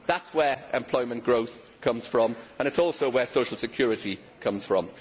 That is where employment growth comes from and it is also where social security comes from.